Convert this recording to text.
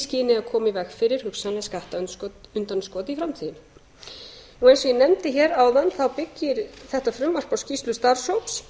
skyni að koma í veg fyrir hugsanleg skattundanskot í framtíðinni eins og ég nefndi hér áðan þá byggir þetta frumvarp á skýrslu starfshóps